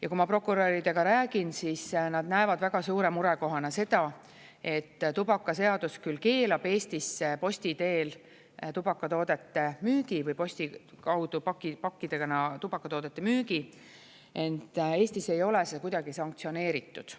Ja kui ma prokuröridega räägin, siis nad näevad väga suure murekohana seda, et tubakaseadus küll keelab Eestisse posti teel tubakatoodete müügi või posti kaudu pakkidena tubakatoodete müügi, ent Eestis ei ole see kuidagi sanktsioneeritud.